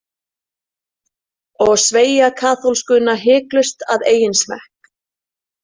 Og sveigja kaþólskuna hiklaust að eigin smekk.